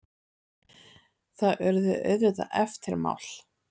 Það urðu auðvitað eftirmál.